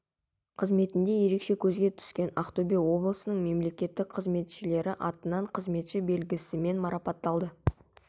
қызметінде ерекше көзге түскен ақтөбе облысының мемлекеттік қызметшілері атынан қызметші белгісімен марапатталды